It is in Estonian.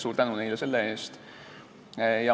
Suur tänu neile selle eest!